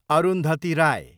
Arundhati Rai